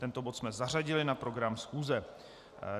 Tento bod jsme zařadili na program schůze.